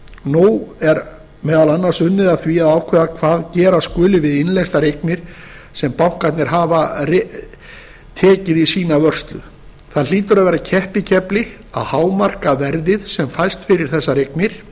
nú er meðal annars unnið að því að ákveða hvað gera skuli við innleystar eignir sem bankarnir hafa tekið í sína vörslu það hlýtur að vera keppikefli að hámarka verðið sem fæst fyrir þessar eignir